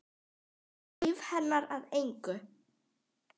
Gera líf hennar að engu.